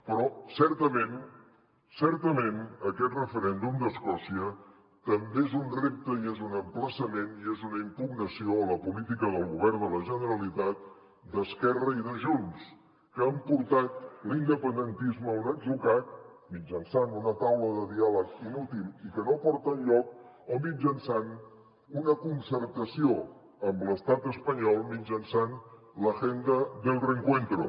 però certament certament aquest referèndum d’escòcia també és un repte i és un emplaçament i és una impugnació a la política del govern de la generalitat d’esquerra i de junts que han portat l’independentisme a un atzucac mitjançant una taula de diàleg inútil i que no porta enlloc o mitjançant una concertació amb l’estat espanyol mitjançant l’agenda para el reencuentro